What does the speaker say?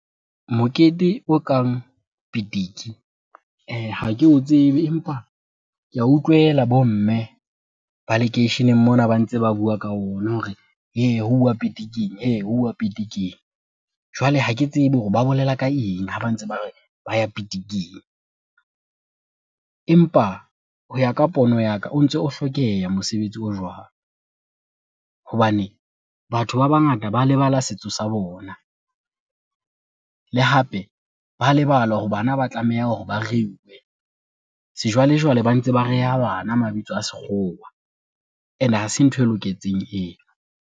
Mokete o kang pitiki ha ke o tsebe, empa ke a utlwela bomme ba lekeisheneng mona ba ntse ba bua ka ona hore hei huwa pitiking, hei huwa pitiking. Jwale ha ke tsebe hore ba bolela ka eng ha ba ntse ba re ba ya pitiking, empa ho ya ka pono ya ka o ntso o hlokeha mosebetsi o jwalo, hobane batho ba bangata ba le lebala setso sa bona. Le hape ba lebala hore bana ba tlameha hore ba reuwe sejwalejwale, ba ntse ba reha bana mabitso a sekgowa ene ha se ntho e loketseng eno.